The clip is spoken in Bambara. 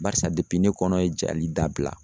Barisa ne kɔnɔ ye jali dabila